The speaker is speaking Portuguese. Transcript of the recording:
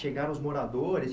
Chegaram os moradores?